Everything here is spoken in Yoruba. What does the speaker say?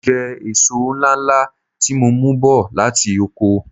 Mo jẹ èso ńláńlá tí mo mú bọ̀ láti oko.